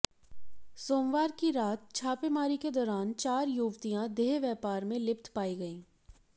सोमवार की रात छापेमारी के दौरान चार युवतियां देह व्यापार में लिप्त पाई गईं